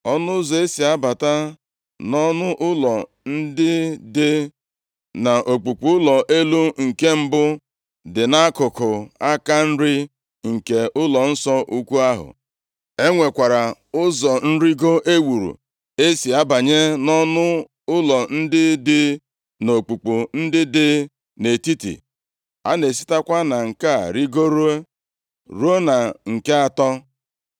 Ọnụ ụzọ e si abata nʼọnụ ụlọ ndị dị nʼokpukpu ụlọ elu nke mbụ dị nʼakụkụ aka nri nke ụlọnsọ ukwu ahụ. E nwekwara ụzọ nrigo e wuru e si abanye nʼọnụ ụlọ ndị dị nʼokpukpu ndị dị nʼetiti. A na-esitekwa na nke a rigoro ruo na nke atọ.